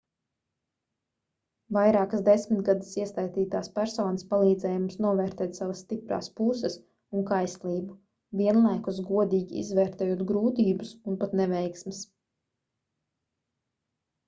vairākas desmitgades iesaistītās personas palīdzēja mums novērtēt savas stiprās puses un kaislību vienlaikus godīgi izvērtējot grūtības un pat neveiksmes